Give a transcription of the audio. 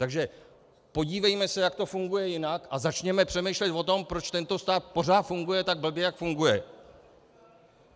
Takže podívejme se, jak to funguje jinak, a začněme přemýšlet o tom, proč tento stát pořád funguje tak blbě, jak funguje.